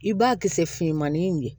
I b'a kisɛmanin de